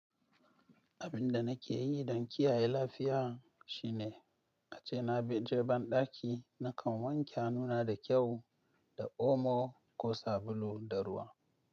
Abin da nake yi don kiyaye lafiya shine a ce na je banɗaki na kan wanke hannuna da kyau da omo ko sabulu da ruwa.